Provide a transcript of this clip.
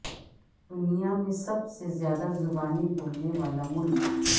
دنیا میں سب سے زیادہ زبانیں بولنے والا ملک